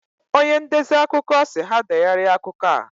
Onye ndezi akụkọ si ha degharia akụkọ a